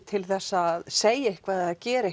til þess að segja eitthvað eða gera